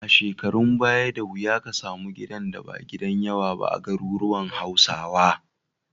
A shekarun baya, da wuya ka samu gidan da ba gidan yawa ba a garuruwan Hausawa.